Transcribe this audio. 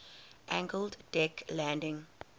angled deck landing